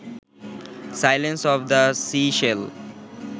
silence of the seashell